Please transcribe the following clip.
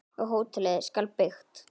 Og hótelið skal byggt.